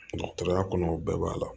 Dɔgɔtɔrɔya kɔnɔ o bɛɛ b'a la